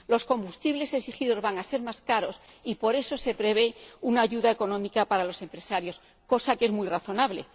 Los combustibles exigidos van a ser más caros y, por eso, se prevé una ayuda económica para los empresarios, lo que es muy razonable.